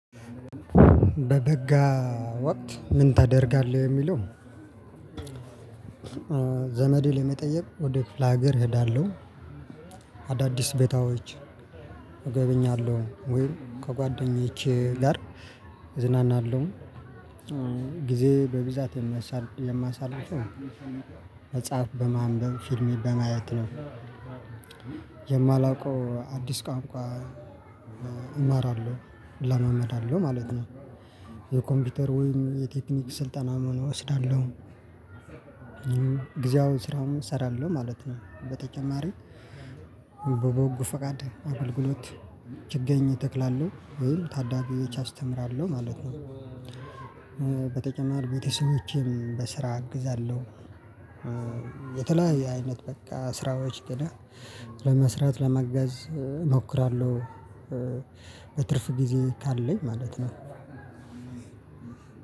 በበጋ ወቅት ምን ታደርጋለህ የሚለው? ዘመዴ ለመጠየቅ ወደ ክፍለ ሀገር እሄዳለሁ። አዳዲስ ቤታዎች እገበኛለሁ ወይ ከጓደኛዬ ጋር እዝናናለሁ። ጊዜ በብዛት የማሳልፈው መጽሐፍ በማንበብ ፊልሜ በማየት ነው። የማላውቀው አዲስ ቋንቋ እማራለው እለማመዳለው ማለት ነው። የኮምፒተር ወይም የቴክኒክ ስልጠና መሆን እወስዳለሁ። ጊዜያዊ ስራውን እሰራለሁ ማለት ነው። በተጨማሪ በበጎ ፈቃድ አገልግሎት ችግኝ ተክላለው ወይም ታዳጊዎች አስተምራለሁ ማለት ነው። በተጨማሪ ቤተሰቦቼን በስራ አግዛለሁ። የተለያየ አይነት በቃ ስራዎች ግን ለመስራት ለማገዝ እሞክራለሁ። በትርፍ ጊዜ ካለኝ ማለት ነው።